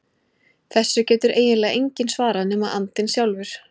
Þessu getur eiginlega enginn svarað nema andinn sjálfur.